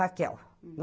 Raquel.